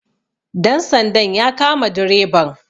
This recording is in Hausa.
dansandan ya kama dreban